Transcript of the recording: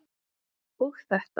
og þetta